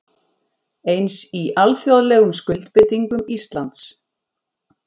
Eins í alþjóðlegum skuldbindingum Íslands